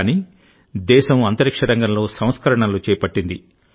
కానీదేశం అంతరిక్ష రంగంలో సంస్కరణలు చేపట్టింది